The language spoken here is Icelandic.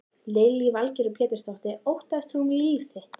Lillý Valgerður Pétursdóttir: Óttaðist þú um líf þitt?